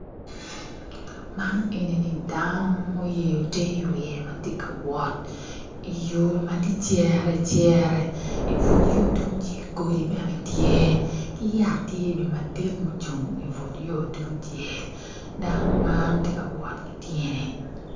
Man enini dano muyeyo ter i wiye tye ka wot i yo ma tye cere cere i but yo tungcel godi bene tye ki yat bene tye madit ma coung i but yo tungcel dano man tye ka wot ki tyene.